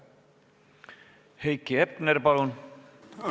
Heiki Hepner, palun!